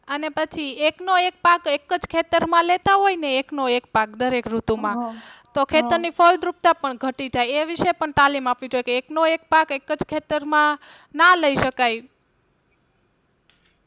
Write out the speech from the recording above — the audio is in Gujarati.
અને પછી એકનો એકે પાક એક જ ખેતર માં લેતા હોય ને એકનો એક પાક દરેક ઋતુમાં તો ખેતર ની ફળદ્રુપતા પણ ઘટી જાય એ વિષે પણ તાલીમ આપવી જોઈએ કે એકનો એક પાક એક જ ખેતરમાં ના લઇ શકાય.